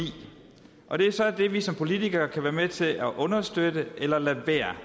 og det er så det vi som politikere kan være med til at understøtte eller lade være